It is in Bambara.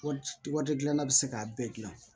Waati gilanna bɛ se k'a bɛɛ gilan